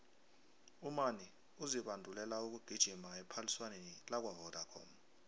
umani uzibandulela ukugijima ephaliswaneni lakwavodacom